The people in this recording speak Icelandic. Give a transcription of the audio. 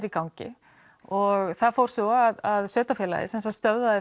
í gangi og það fór svo að sveitafélagið stöðvaði